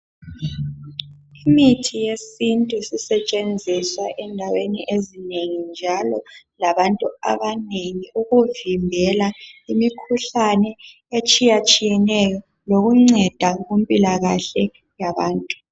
Imithi yesintu sisetshenziswa endaweni ezinengi njalo labantu abanengi ukuvimbela imikhuhlane etshiyatshiyeneyo lokunceda kumpilakahle yabantu.